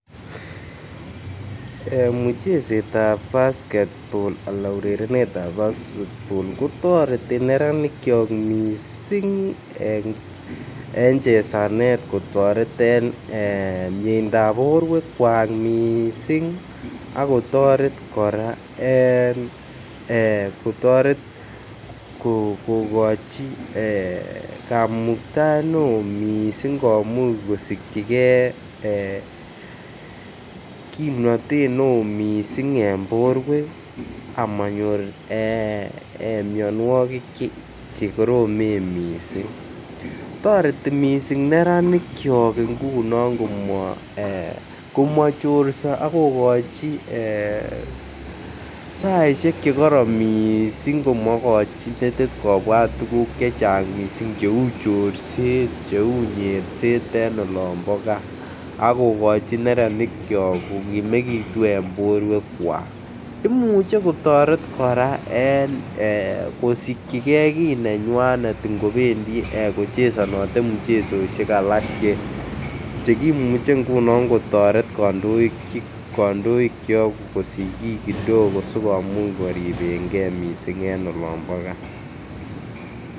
Ee muchesetab basketball alan urerenetab basketball kotoreti neranikyok missing en chezanet en miendap borwekwak missing ako toret koraa en ee kotoret kogochi ee kamuktaet ne oo missing komuch kosigyi gee kimnotet ne oo missing en borwek amonyor ee mionwokik che koromen missing. Toreti missing neranikyok ngunon komo chorso ak kogoji ee saishek che koron missing komogoji metit kobwat tuguk chechang missing che chorset che uu nyerset en olombo gaa akogochi neranikyok kominekitun en borwekwak, imuch kotoret koraa en ee kosigyi gee kii kidogo nenywanet ngo bendi kichezonote muchezoshek alak che kimuche ngunon kotoret kondoikyok kosich kii kidogo sikomuch koribenge missing en olombo gaa